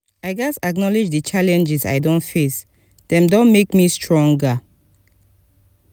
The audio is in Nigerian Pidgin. i gats acknowledge the challenges i don face; dem don make me stronger.